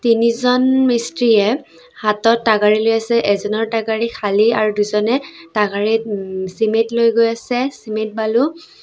তিনিজন মিস্ত্ৰীয়ে হাতত লৈ আছে এজনৰ খালী আৰু দুজনে ওম চিমেন্ট লৈ গৈ আছে চিমেন্ট বালু।